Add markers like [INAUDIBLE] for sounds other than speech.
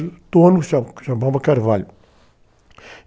O dono, [UNINTELLIGIBLE] chamava Carvalho.